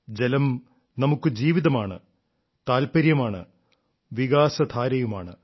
ജലം നമുക്ക് ജീവിതമാണ് താല്പര്യമാണ് വികാസധാരയുമാണ്